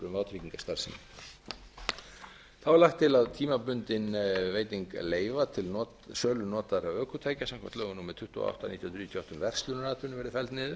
vátryggingastarfsemi þá er lagt til að tímabundin veiting leyfa til sölu notaðra ökutækja samkvæmt lögum númer tuttugu og átta nítján hundruð níutíu og átta um verslunaratvinnu verði felld niður en